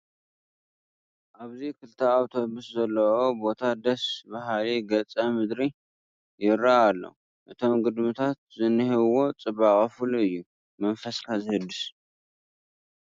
ኣብዚ ክልተ ኣውቶቡስ ዘለዉኦ ቦታ ደስ በሃሊ ገፀ ምድሪ ይርአ ኣሎ፡፡ እቶም ግድምታት ዝኔሀዎም ፅባቐ ፍሉይ እዩ፡፡ መስፈስካ ዘህድስ እዩ፡፡